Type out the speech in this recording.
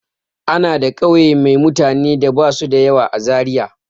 Ana da ƙauye mai mutane da ba su da yawa a Zariya.